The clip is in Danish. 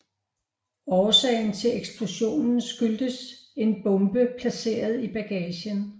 Årsagen til eksplosionen skyldes en bombe placeret i bagagen